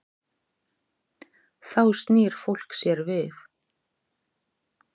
Þá snýr fólk sér við.